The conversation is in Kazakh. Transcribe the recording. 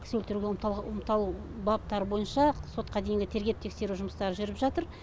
кісі өлтіруге баптары бойынша сотқа дейінгі тергеп тексеру жұмыстары жүріп жатыр